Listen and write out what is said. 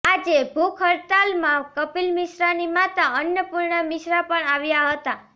આજે ભૂખ હડતાલમાં કપિલ મિશ્રાની માતા અન્નપૂર્ણા મિશ્રા પણ આવ્યા હતા